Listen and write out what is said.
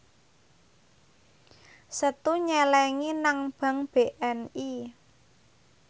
Setu nyelengi nang bank BNI